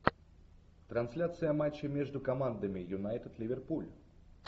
трансляция матча между командами юнайтед ливерпуль